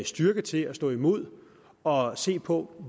styrke til at stå imod og se på